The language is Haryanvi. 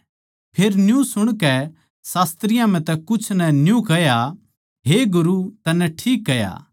फेर न्यू सुणकै शास्त्रियाँ म्ह तै कुछ नै न्यू कह्या हे गुरू तन्नै ठीक कह्या